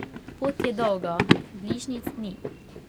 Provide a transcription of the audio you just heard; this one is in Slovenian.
Pot je dolga, bližnjic ni.